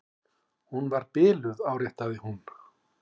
Hún var biluð, áréttaði hún.